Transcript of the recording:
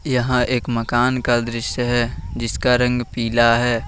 यहां एक मकान का दृश्य है जिसका रंग पीला है।